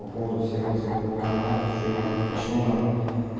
по поводу всех этих военкоматов что и как почему нам